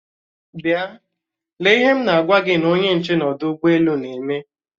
Bịa! lee ihe m na-agwa gi onye nche n'ọdụ ụgbọ elu na-eme!